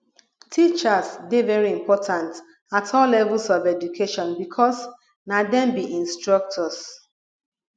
teachers dey very important at all levels of education because na dem be instructors